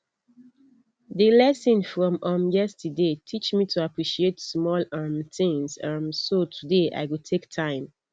di lesson from um yesterday teach me to appreciate small um things um so today i go take time